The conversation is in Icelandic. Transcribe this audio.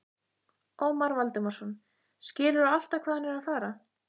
Ómar Valdimarsson: Skilurðu alltaf hvað hann er að fara?